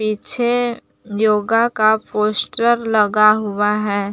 पीछे योगा का पोस्टर लगा हुआ है।